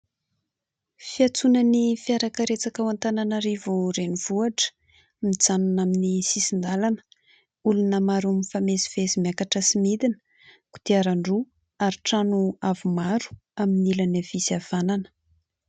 Fiantsonan'ny fiara karetsaka ao Antananarivo renivohitra. Mijanona amin'ny sisin-dalana, olona maro mifamezivezy miakatra sy midina, kodiaran-droa ary trano avo aro amin'ny sisiny havanana.